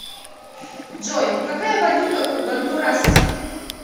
джой какая валюта у гондурасцев